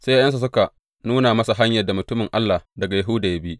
Sai ’ya’yansa suka nuna masa hanyar da mutumin Allah daga Yahuda ya bi.